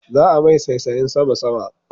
Za'a mai saisayen sama-sama